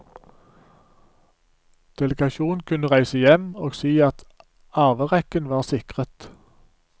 Delegasjonen kunne reise hjem og si at arverekken var sikret.